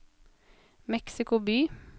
Mexico by